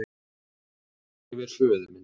Moka yfir föður minn.